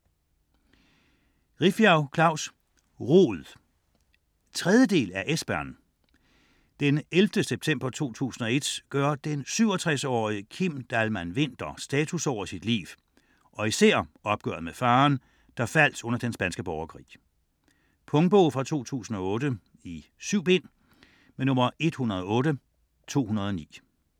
Rifbjerg, Klaus: Rod 3. del af Esbern. Den 11. september 2001 gør den 67-årige Kim Dahlman-Winther status over sit liv og især opgøret med faderen, der faldt under den spanske borgerkrig. Punktbog 108209 2008. 7 bind.